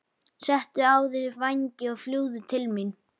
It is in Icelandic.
Settu á þig vængina og fljúgðu til mín.